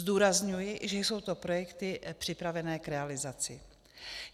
Zdůrazňuji, že jsou to projekty připravené k realizaci.